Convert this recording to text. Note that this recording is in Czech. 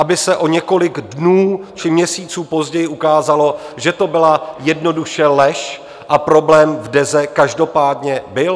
Aby se o několik dnů či měsíců později ukázalo, že to byla jednoduše lež a problém v Deze každopádně byl?